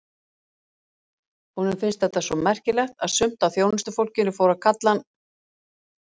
Honum fannst þetta svo merkilegt að sumt af þjónustufólkinu fór að kalla hann